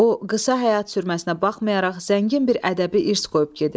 O qısa həyat sürməsinə baxmayaraq zəngin bir ədəbi irs qoyub gedib.